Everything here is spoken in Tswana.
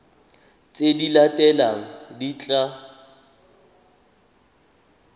tse di latelang di tla